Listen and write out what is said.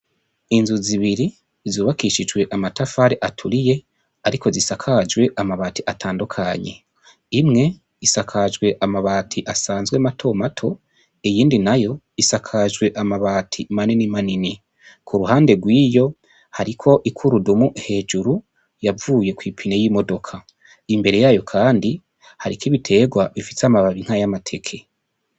Inzu zibiri zubakishijwe amatafari aturiye, ariko zisakajwe amabati atandukanye imwe isakajwe amabati asanzwe mato mato iyindi nayo isakajwe amabati manini manini, ku ruhande rw'iyo hariko ikurudumu hejuru yavuye kw'ipine y'imodoka imbere yayo, kandi hariko ibiterwa bifise amababi nkay'amateke.